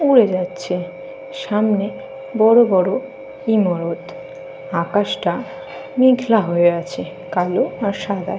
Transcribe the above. উড়ে যাচ্ছে। সামনে বড় বড় ইমারত। আকাশটা মেঘলা হয়ে আছে। কালো আর সাদায়।